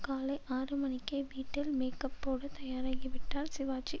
காலை ஆறு மணிக்கே வீட்டில் மேக்கப்போட தயாராகிவிட்டார் சிவாஜி